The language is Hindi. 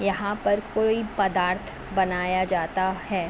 यहाँ पर कोई पदार्थ बनाया जाता है।